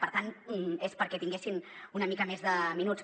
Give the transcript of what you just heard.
per tant és perquè tinguessin una mica més de minuts